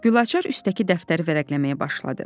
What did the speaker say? Gülaçar üstdəki dəftəri vərəqləməyə başladı.